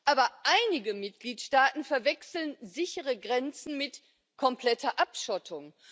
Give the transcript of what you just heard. Aber einige Mitgliedstaaten verwechseln sichere Grenzen mit kompletter Abschottung.